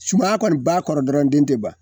Sumaya kɔni b'a kɔrɔ dɔrɔn den te ban.